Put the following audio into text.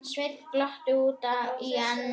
Sveinn glotti út í annað.